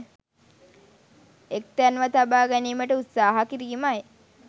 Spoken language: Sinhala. එක් තැන්ව තබා ගැනීමට උත්සාහ කිරීමයි.